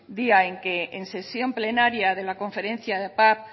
día en que en sesión plenaria de la conferencia de paz